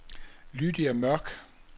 Lydia Mørch